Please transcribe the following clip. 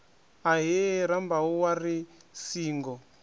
ahee rambau wa ri singo